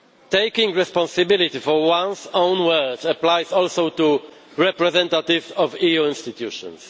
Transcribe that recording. Taking responsibility for one's own words applies also to the representatives of EU institutions.